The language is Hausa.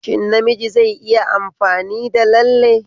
Shin namiji zai iya amfani da lalle?